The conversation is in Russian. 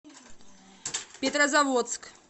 петрозаводск